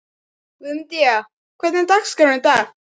Guðmundína, hvernig er dagskráin í dag?